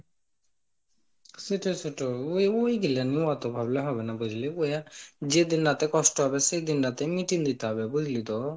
সেটাই সেটা ওই গুলো নি অত ভাবলে হবেনা বুঝলি ওয়্যা যেদিন রাতে কষ্ট হবে, সেদিন রাতে মিটিয়ে নিতে হবে বুঝলি তো,